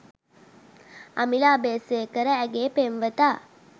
අමිල අබේසේකර ඇගේ පෙම්වතා